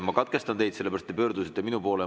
Ma katkestan teid sellepärast, et te pöördusite minu poole.